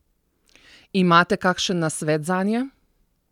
Imate kakšen nasvet zanje?